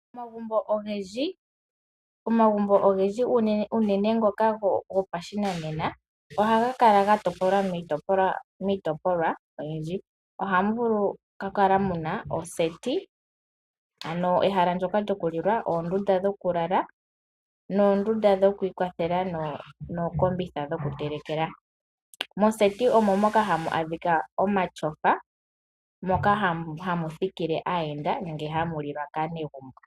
Omagumbo ogendji unene ngoka gopashinanena ohaga kala gatopolwa miitopolwa oyindji. Ohamu kala nee muna oseti, ondunda yokulilwa, oondunda dhokulalwa noondunda dhokwiiwathela nosho woo ookombitha dhokutelekela. Moseti omo moka hamu a dhika omatyofa, moka hamu thikile aayenda nokulilwa kaanegumbo.